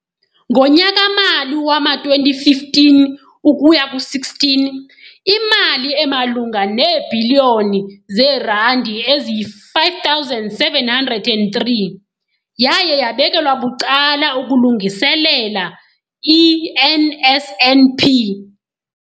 Ngonyaka-mali wama-2015 ukuya ku-16, imali emalunga neebhiliyoni zeerandi eziyi-5 703 yaye yabekelwa bucala ukulungiselela i-NSNP.